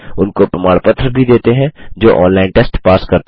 उनको प्रमाण पत्र भी देते हैं जो ऑनलाइन टेस्ट पास करते हैं